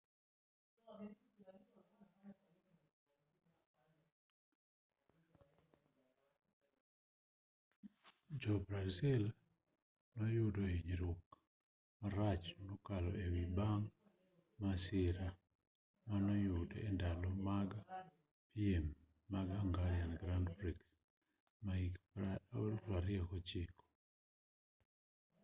ja-brazil no noyudo hinyruok marach mokalo e wiye bang' masira manoyude e ndalo mag piem mag hungarian grand prix ma hik 2009